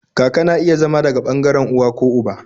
Kaka na iya zama daga ɓangaren uwa ko uba